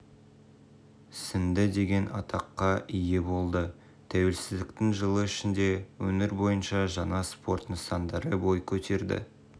сіңді деген атаққа ие болды тәуелсіздіктің жылы ішінде өңір бойынша жаңа спорт нысандары бой көтерді